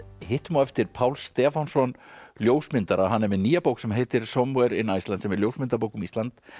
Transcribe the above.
hittum á eftir Pál Stefánsson ljósmyndara hann er með nýja bók sem heitir Somewhere in Iceland sem er ljósmyndabók um Ísland